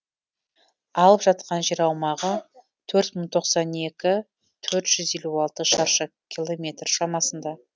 алып жатқан жер аумағы төрт мың тоқсан екі төрт жүз елу алты шаршы километр шамасында